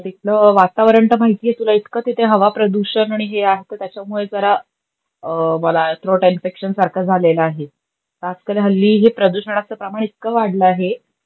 तिथलं वातवरण त माहित आहे तुला इतका तिथे हवा प्रदूषण आणि हे आमक त्याच्यामुळे जरा मला थ्रोट इन्फेक्षण सारख झालेलं आहे. आजकाल हल्ली हे प्रदूषनाच प्रमाण इतका वाढला आहे,